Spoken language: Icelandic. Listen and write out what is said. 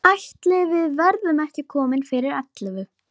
Ég lenti í hópi með Hrönn og Sóleyju Björk.